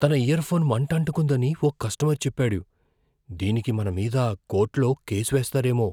తన ఇయర్ఫోన్ మంటంటుకుందని ఓ కస్టమర్ చెప్పాడు. దీనికి మన మీద కోర్టులో కేసు వేస్తారేమో.